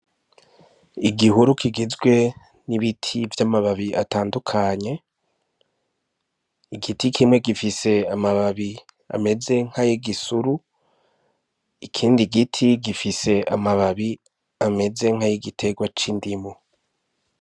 Igihurukigizwe n'ibiti vy'amababi atandukanye igiti kimwe gifise amababi ameze nk'ay'igisuru ikindi giti gifise amababi ameze nk'ay' igiterwa c'indimo.